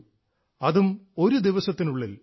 അതും ഒരു ദിവസത്തിനുള്ളിൽ